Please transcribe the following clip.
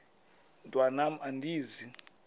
mntwan am andizi